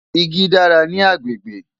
Igi dára ní agbègbè.